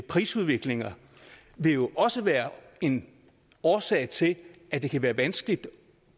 prisudviklinger vil også være en årsag til at det kan være vanskeligt